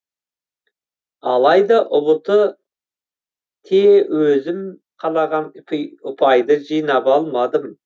алайда ұбт те өзім қалаған ұпайды жинап алмадым